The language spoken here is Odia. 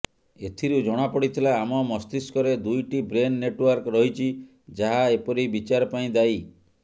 ଏଥିରୁ ଜଣାପଡ଼ିଥିଲା ଆମ ମସ୍ତିଷ୍କରେ ଦୁଇଟି ବ୍ରେନ୍ ନେଟ୍ୱାର୍କ ରହିଛି ଯାହା ଏପରି ବିଚାର ପାଇଁ ଦାୟୀ